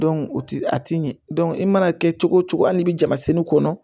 o ti a ti ɲɛ dɔn i mana kɛ cogo o cogo hali i bɛ jama fini kɔnɔ